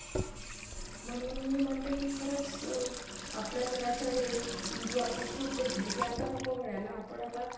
आणि आता जे नवीन phone येतायत. त्याचाट समोरचाल संदेश जातो. कि आपला call कोणी तरी record करत आहे. उदाहरणात सांगतो